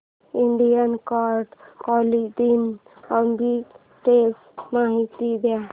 Indian card clothing arbitrage माहिती दे